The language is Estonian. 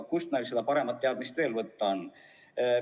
Kust meil veel paremat teadmist võtta on?